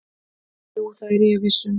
"""Jú, það er ég viss um."""